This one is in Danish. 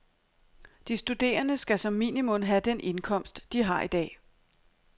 De studerende skal som minimum have den indkomst, de har i dag.